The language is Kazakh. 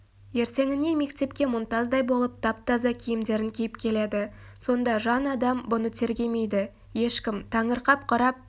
ертеңіне мектепке мұнтаздай болып тап-таза киімдерін киіп келеді сонда жан адам бұны тергемейді ешкім таңырқап қарап